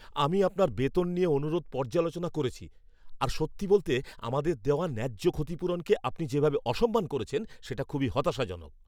আমি আপনার বেতন নিয়ে অনুরোধ পর্যালোচনা করেছি আর সত্যি বলতে, আমাদের দেওয়া ন্যায্য ক্ষতিপূরণকে আপনি যেভাবে অসম্মান করেছেন সেটা খুবই হতাশাজনক।